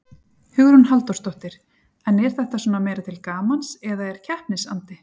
Hugrún Halldórsdóttir: En er þetta svona meira til gamans eða er keppnisandi?